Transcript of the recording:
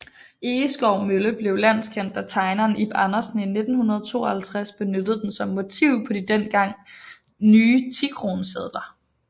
Egeskov Mølle blev landskendt da tegneren Ib Andersen i 1952 benyttede den som motiv på de dengang nye tikronesedler